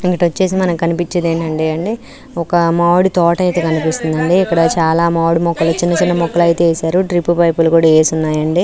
ఇక్కడ ఏం కనిపిస్తుంది అంటే ఒక మావిడా తోట ఐతే కనిపిస్తుంది అండి ఇక్కడ చానా మొక్కలు వేసిఉన్నారు --